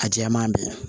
A jɛman bɛɛ